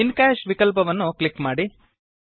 ಇನ್ ಕಾಶ್ ವಿಕಲ್ಪವನ್ನು ಕ್ಲಿಕ್ ಮಾಡಿ